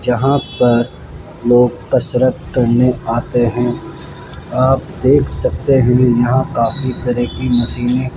जहां पर लोग कसरत करने आते हैं आप देख सकते हैं यहां काफी तरह की मशीनें --